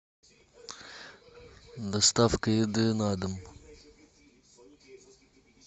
доставка еды на дом